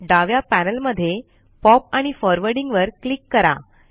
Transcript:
डाव्या पॅनल मध्ये पॉप आणि फॉरवर्डिंग वर क्लिक करा